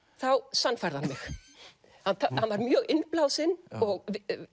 sannfærði hann mig hann var mjög innblásinn og